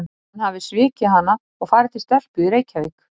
Að hann hafi svikið hana og farið til stelpu í Reykjavík?